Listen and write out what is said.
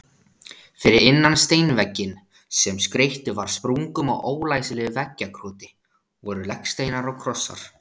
Fyrir innan steinvegginn, sem skreyttur var sprungum og ólæsilegu veggjakroti, voru legsteinar og krossar.